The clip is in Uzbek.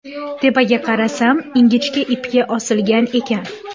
Tepaga qarasam ingichka ipga osilgan ekan.